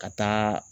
Ka taa